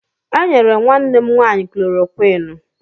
E nyere nwanne m nwaanyị klorokwinụ.